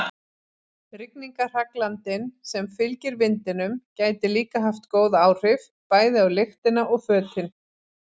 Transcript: Rigningarhraglandinn sem fylgir vindinum gæti líka haft góð áhrif, bæði á lyktina og fötin.